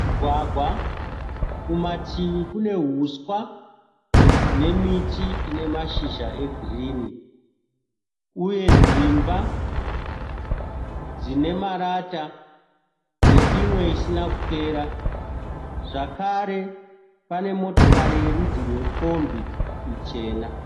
Mugwagwa, kumativi kune huswa nemiti ine mashizha egirini, uye dzimba dzine marata neimwe isina kupera zvakare pane motokari yerudzi rwekombi ichena.